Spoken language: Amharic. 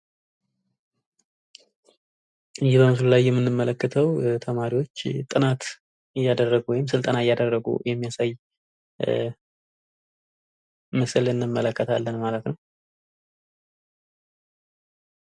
የምንመለከተው ተማሪዎች ጥናት ወይም ስልጠና እያደረጉ እሚያሳይ ምስል እንመለከለታን ።